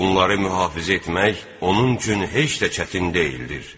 Bunları mühafizə etmək onun üçün heç də çətin deyildir.